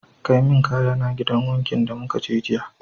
Kai min kayana gidan wankin da mukaje jiya